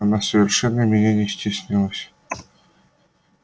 она совершенно меня не стеснялась